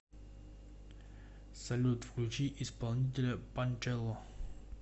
салют включи исполнителя панчелло